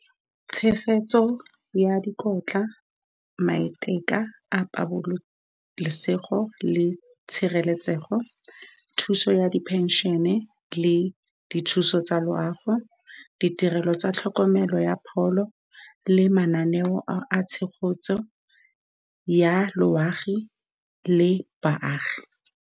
Tshegetso ya dikotla, maiteka a pabalesego le tshireletsego, thuso ya di pension-e le dithuso tsa loago, ditirelo tsa tlhokomelo ya pholo le mananeo a tshegetso ya loago le baagi.